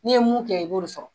N'i ye mun kɛ i b'o de sɔrɔ.